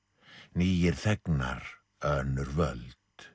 nýir þegnar önnur völd